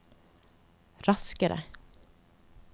raskere